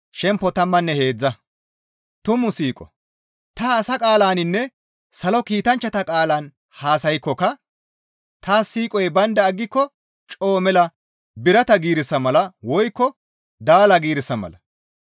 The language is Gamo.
Ta asa qaalaninne salo kiitanchchata qaalan haasaykkoka taas siiqoy baynda aggiko coo mela birata giirissa mala woykko daala giirissa mala.